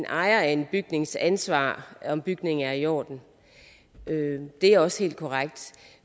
ejeren af en bygnings ansvar at bygningen er i orden det er også helt korrekt